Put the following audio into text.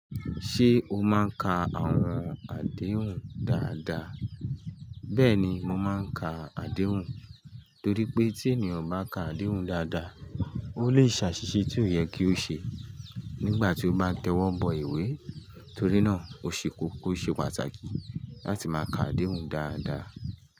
Ṣé o máa ń ka àwọn àdéhùn dáadáa? Bẹ́ẹ̀ni, mo máa ń ka àdéhùn torí pé tí ènìyàn o bá ka àdéhùn dáadáa, ó lè ṣàṣìṣe tí ó yẹ kí ó ṣe nígbà tí ó bá tẹ́wọ́bo ìwé. Torí náà, òṣe koko o ṣe pàtàkì láti máa ka àdéhùn dáadáa.